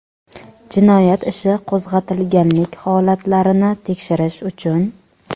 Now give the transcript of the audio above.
jinoyat ishi qo‘zg‘atilganlik holatlarini tekshirish uchun;.